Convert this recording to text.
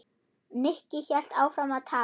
Nikki hélt áfram að tala.